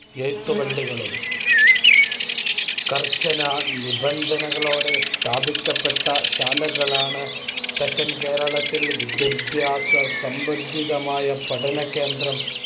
എഴുത്തുപള്ളികളും കർശനനിബന്ധനകളോടെ സ്ഥാപിക്കപ്പെട്ട ശാലകളാണ് തെക്കൻ കേരളത്തിൽ വിദ്യാഭ്യാസസംബന്ധിയായ പഠനകേന്ദ്രം.